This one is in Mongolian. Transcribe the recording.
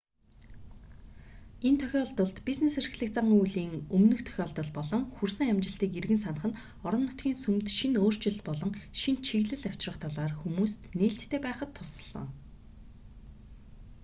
энэ тохиолдолд бизнес эрхлэх зан үйлийн өмнөх тохиолдол болон хүрсэн амжилтыг эргэн санах нь орон нутгийн сүмд шинэ өөрчлөлт болон шинэ чиглэл авчрах талаар хүмүүст нээлттэй байхад тусалсан